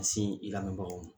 K'a se i lamɛnbagaw ma.